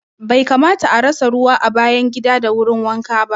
Bai kamata a rasa ruwa a bayan gida da wurin wanka ba